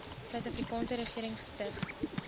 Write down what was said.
suidafrikaanse regering gestig